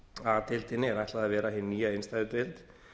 a deildinni er ætlað að vera hin nýja innstæðudeild